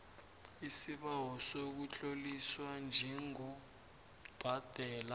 isibawo sokutloliswa njengobhadela